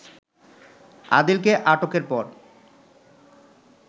আদিলকে আটকের পর